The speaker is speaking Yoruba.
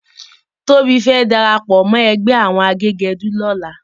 Tobi fè dàrápò mò ègbè áwòn àgégèdú lòlá